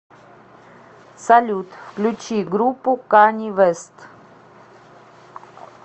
салют включи группу кани вест